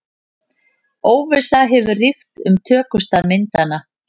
Óvissa hefur ríkt um tökustað myndanna